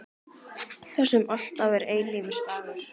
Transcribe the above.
Þar sem alltaf er eilífur dagur.